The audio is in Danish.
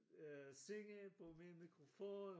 Øh synge på min mikrofon